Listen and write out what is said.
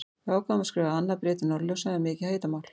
Við ákváðum að skrifa annað bréf til Norðurljósa um mikið hitamál!